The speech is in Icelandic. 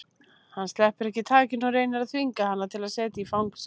Hann sleppir ekki takinu og reynir að þvinga hana til að setjast í fang sér.